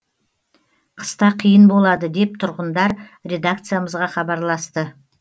қыста қиын болады деп тұрғындар редакциямызға хабарласты